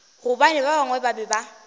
gobane ba bangwe ba be